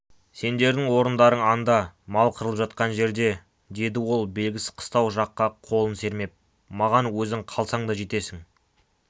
сендердің орындарың анда мал қырылып жатқан жерде деді ол белгісіз қыстау жаққа қолын сермеп маған өзің қалсаң да жетесің